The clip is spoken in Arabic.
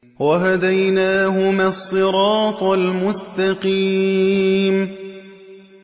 وَهَدَيْنَاهُمَا الصِّرَاطَ الْمُسْتَقِيمَ